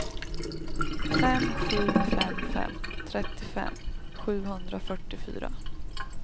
fem sju fem fem trettiofem sjuhundrafyrtiofyra